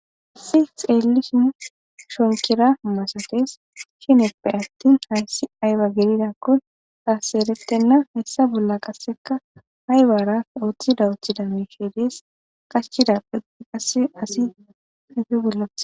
Issi xeelishin shochetidaba milates giddope atin tasi ayibako eretena ha issa bollaka ayibara othida otida qachid asi qassi oge bolla